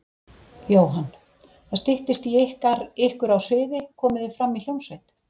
Jóhann: Það styttist í ykkur á sviði, komið þið fram í hljómsveit?